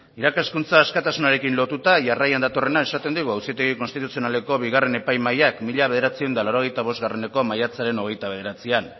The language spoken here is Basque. irakaskuntza askatasunarekin lotuta jarraian datorrena esaten digu auzitegi konstituzionaleko bigarren epaimahaiak mil novecientos ochenta y cincoeko maiatzaren hogeita bederatzian